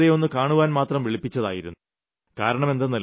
ഞാൻ അവരെ വെറുതെയൊന്നു കാണുവാൻമാത്രം വിളിപ്പിച്ചതായിരുന്നു